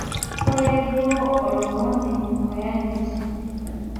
Koree duo olomoni oyanyiti.